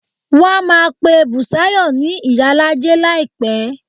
Wọ́n á máa pe Bùsáyọ̀ ni ìyálájé láìpẹ́